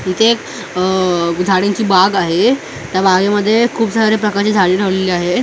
तिथे एक अ झाडांची बाग आहे त्या बागेमध्ये खूप साऱ्या प्रकारची झाडे लावलेली आहे.